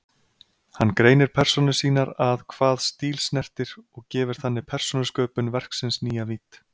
Hann greinir persónur sínar að hvað stíl snertir og gefur þannig persónusköpun verksins nýja vídd.